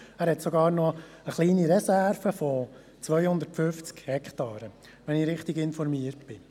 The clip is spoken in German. Er hat sogar noch eine kleine Reserve von 250 Hektaren, wenn ich richtig informiert bin.